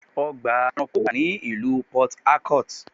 Ọgbà ẹranko wà ní ìlú Port Harcourt.